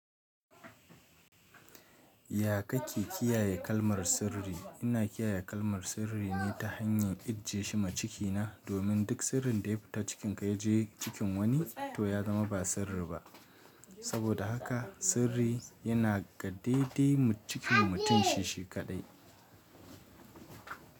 Ya ka ke kiyaye kalmar sirri? Ina kiyaye kalmar sirri ne ta hanyar ijiye shi ma ciki na, domin duk sirrin da ya fita cikin ka ya je cikin wani to ya zama ba sirri ba. Saboda haka sirri yana gadde dai cikin mutum shishi kaɗai.